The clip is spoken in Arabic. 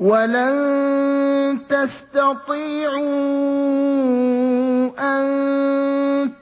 وَلَن تَسْتَطِيعُوا أَن